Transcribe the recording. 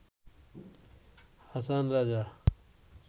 Hason Raja